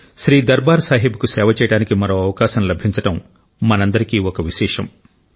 శ్రీ దర్బార్ సాహిబ్కు సేవ చేయడానికి మరో అవకాశం లభించడం మనందరికీ ఒక విశేషం